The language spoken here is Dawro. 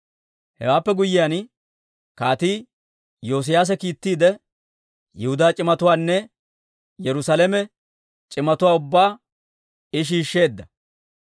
Hewaappe guyyiyaan, Kaatii Iyoosiyaase kiittiide, Yihudaa c'imatuwaanne Yerusaalame c'imatuwaa ubbaa I shiishsheedda.